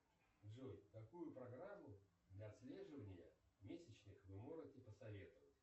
джой какую программу для отслеживания месячных вы можете посоветовать